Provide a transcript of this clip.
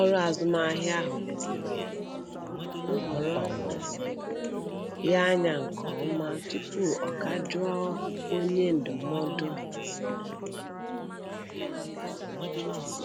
ọrụ azụmahịa ahụ leziri nhọrọ um ya anya nke ọma tupu ọ ga jụọ onye ndụmọdụ um azụmahịa ahụ ajụjụ.